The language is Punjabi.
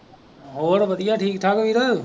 ਹੋਰ ਵਧੀਆ ਠੀਕ ਠਾਕ ਵੀਰ।